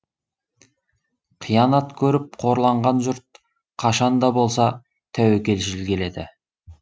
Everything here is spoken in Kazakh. қиянат көріп қорланған жұрт қашан да болса тәуекелшіл келеді